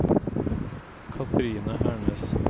Kathrine Hernes